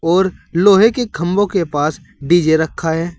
और लोहे के खंभों के पास डी_जे रखा है।